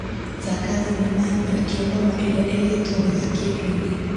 Thaka thinema ya Baraki Ombama ĩrĩa ĩigĩtwo wega kĩndũ-inĩ .